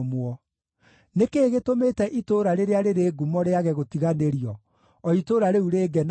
Nĩ kĩĩ gĩtũmĩte itũũra rĩrĩa rĩrĩ ngumo rĩage gũtiganĩrio, o itũũra rĩu rĩngenagia?